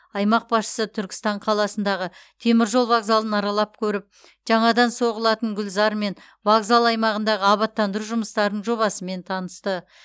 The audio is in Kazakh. аймақ басшысы түркістан қаласындағы теміржол вокзалын аралап көріп жаңадан соғылатын гүлзар мен вокзал аймағындағы абаттандыру жұмыстарының жобасымен танысты